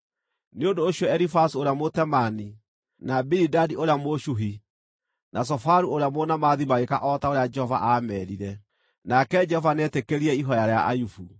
Nĩ ũndũ ũcio Elifazu ũrĩa Mũtemaani, na Bilidadi ũrĩa Mũshuhi, na Zofaru ũrĩa Mũnaamathi magĩĩka o ta ũrĩa Jehova aameerire; nake Jehova nĩetĩkĩrire ihooya rĩa Ayubu.